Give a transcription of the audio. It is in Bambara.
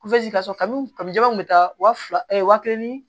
kabini kabini jebaw bɛ taa wa fila wa kelen ni